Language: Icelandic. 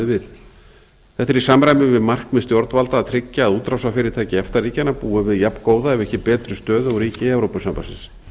við þetta er í samræmi við það markmið stjórnvalda að tryggja að útrásarfyrirtæki efta ríkjanna búi við jafngóða ef ekki betri stöðu og ríki evrópusambandsins